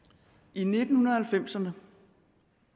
i nitten halvfemserne